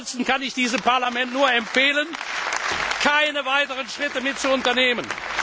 Ansonsten kann ich diesem Parlament nur empfehlen, keine weiteren Schritte mitzuunternehmen.